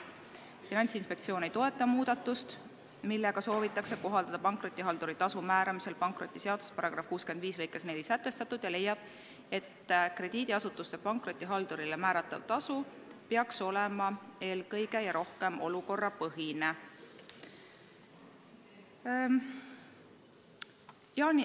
Finantsinspektsioon ei toeta muudatust, millega soovitakse kohaldada pankrotihalduri tasu määramisel pankrotiseaduse § 65 lõikes 4 sätestatut, ja leiab, et krediidiasutuse pankrotihaldurile määratav tasu peaks olema eelkõige ja rohkem olukorrapõhine.